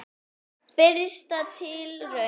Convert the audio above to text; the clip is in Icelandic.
Fyrsta tilraun